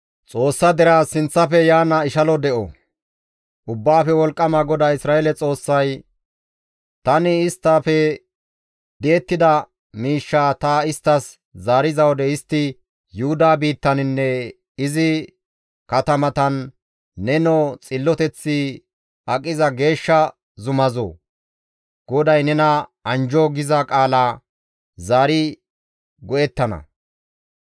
Ubbaafe Wolqqama GODAA Isra7eele Xoossay, «Tani isttafe di7ettida miishshaa ta isttas zaariza wode istti Yuhuda biittaninne izi katamatan, ‹Nenoo xilloteththi aqiza geeshsha zumazoo! GODAY nena anjjo!› giza qaala zaari go7ettana.